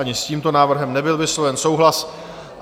Ani s tímto návrhem nebyl vysloven souhlas.